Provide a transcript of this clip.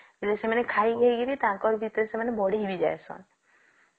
ସେମାନେ ଖାଇ ଖାଇ କରି ତାଙ୍କର ଭିତରେ ସେମାନେ ବଢି ବି ଯଇସନ